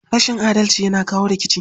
Rashin adalci yana kawo rikici.